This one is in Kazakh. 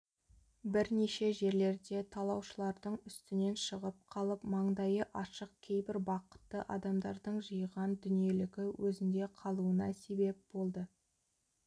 бірнеше жерлерде талаушылардың үстінен шығып қалып маңдайы ашық кейбір бақытты адамдардың жиған дүниелігі өзінде қалуына себеп болды